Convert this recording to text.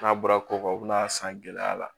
N'a bɔra ko u bɛna a san gɛlɛya la